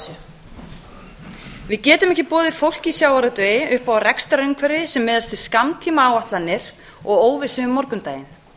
þessu við getum ekki boðið fólki í sjávarútvegi upp á rekstrarumhverfi sem miðast við skammtímaáætlanir og óvissu um morgundaginn